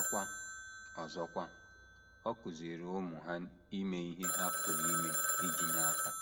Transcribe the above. Ọzọkwa, Ọzọkwa, ọ kụziiri ụmụ ha ime ihe ha pụrụ ime iji nye aka.